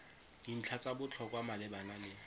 dintlha tsa botlhokwa malebana le